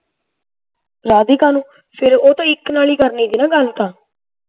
ਰਾਧਿਕਾ ਨੂੰ ਫੇਰ ਉਹ ਤਾਂ ਇਕ ਨਾਲ ਹੀ ਕਰਨੀ ਸੀ ਨਾ ਗੱਲ ਤਾਂ